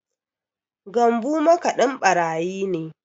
Gambu makaɗin ɓarayi ne